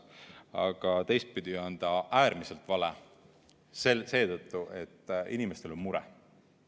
Aga teistpidi on ta äärmiselt vale seetõttu, et inimestel on mure.